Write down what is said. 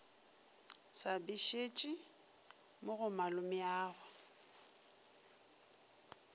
sa bešetše mo go mogolwagwe